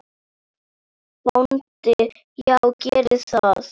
BÓNDI: Já, gerið það.